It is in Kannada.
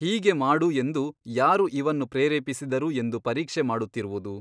ಹೀಗೆ ಮಾಡು ಎಂದು ಯಾರು ಇವನ್ನು ಪ್ರೇರೇಪಿಸಿದರು ಎಂದು ಪರೀಕ್ಷೆ ಮಾಡುತ್ತಿರುವುದು.